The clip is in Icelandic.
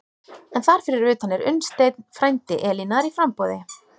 En þar fyrir utan er Unnsteinn, frændi Elínar, í framboði.